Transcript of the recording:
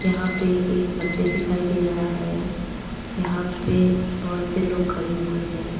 यहां पे एक मंदिर दिखाई दे रहा है यहां पे बहोत से लोग खड़े हुए है।